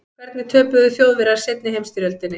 hvernig töpuðu þjóðverjar seinni heimsstyrjöldinni